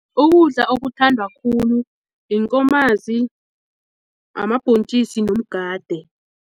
Ukudla okuthandwa khulu inkomazi, amabhontjisi nomgade.